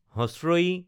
ই